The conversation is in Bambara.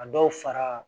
A dɔw fara